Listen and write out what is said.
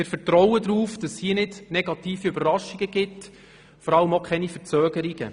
Wir vertrauen darauf, dass es hier keine negativen Überraschungen geben wird und vor allem auch keine Verzögerungen.